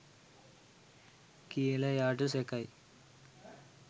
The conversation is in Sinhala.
කියල එයාට සැකයි.